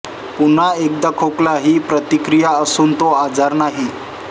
पुन्हा एकदा खोकला ही एक प्रतिक्रिया असून तो आजार नाही